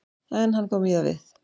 En hann kom víða við.